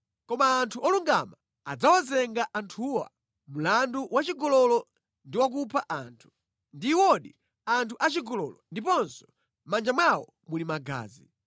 Koma anthu olungama adzawazenga anthuwa mlandu wa chigololo ndi wa kupha anthu. Ndi iwodi anthu achigololo ndiponso mʼmanja mwawo muli magazi.